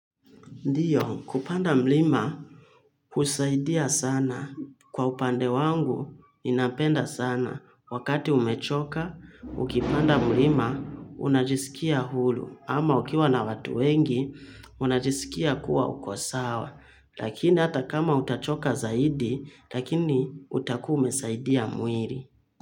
Ndiyo kupanda mlima usaidia sana kwa upande wangu ninapenda sana wakati umechoka ukipanda mlima unajiskia hulu ama ukiwa na watu wengi unajisikia kuwa uko sawa lakini hata kama utachoka zaidi lakini utakuwa umesaidia muiri.